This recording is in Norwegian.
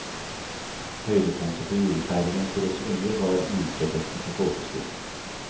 Høydepunktet på julefeiringen for oss unger var juletrefesten på folkeskolen.